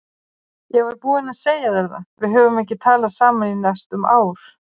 Ég var búinn að segja þér það, við höfum ekki talað saman í næstum ár.